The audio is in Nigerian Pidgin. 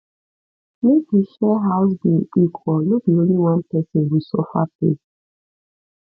[] make we share house bill equal no be only one person go suffer pay